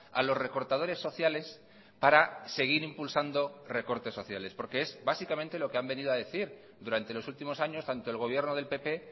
a los recortadores sociales para seguir impulsando recortes sociales porque es básicamente lo que han venido a decir durante los últimos años tanto el gobierno del pp